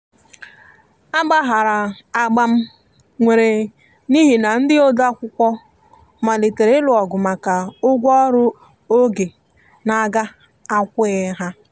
a gbaharam agbam nwere n'ihi na ndi odeakwụkwọ malitere ilụ ogụ maka ụgwọ ọrụ oge n'aga akwoghi ha.